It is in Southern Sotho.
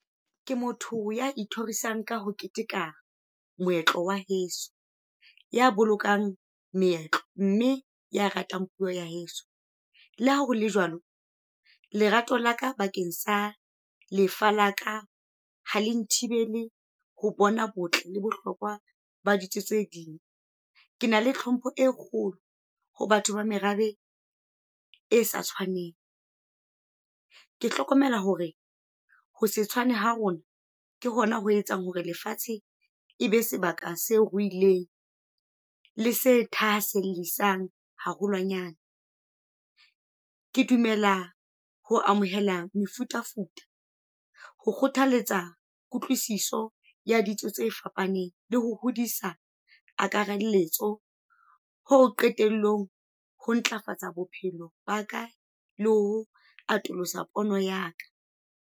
Ke motho ya ithorisang ka ho keteka moetlo wa heso. Ya bolokang meetlo, mme ya ratang puo ya heso. Le ha hole jwalo lerato laka bakeng sa lefa la ka ha le nthibele ho bona botle le bohlokwa ba ditso tse ding. Ke na le tlhompho e kgolo ho batho ba merabe e sa tshwaneng. Ke hlokomela hore ho se tshwane ha rona ke hona ho etsang hore lefatshe e be sebaka se ruileng. Le se thahasellisang haholwanyane. Ke dumela ho amohela mefutafuta, ho kgothaletsa kutlwisiso ya ditso tse fapaneng le ho hodisa akaralletso ho qetellong ho ntlafatsa bophelo baka le ho atolosa pono ya ka.